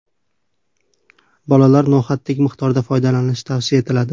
Bolalar no‘xatdek miqdorda foydalanishi tavsiya etiladi”.